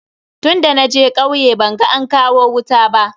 Tunda naje kauye ban ga an kawo wuta ba.